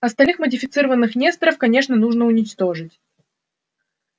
остальных модифицированных несторов конечно нужно уничтожить